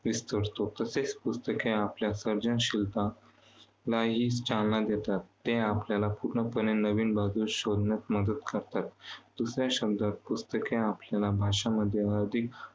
विस्तारतो. तसेच पुस्तके आपल्या सर्जनशीलता लाही चालना देतात. ते आपल्याला पूर्णपणे नवीन बाजू शोधण्यास मदत करतात. दुसऱ्या शब्दात पुस्तके आपल्याला भाषांमध्ये अधिक